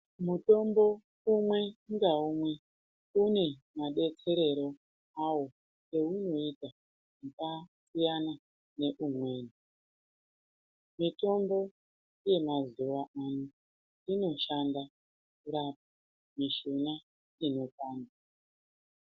Mutombo umwe ngaumwe une madetserero awo eunoita akasiyana neumweni miyombo yemazuwa ano inoshanda kurapa mushuna i nopanda.